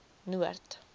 noord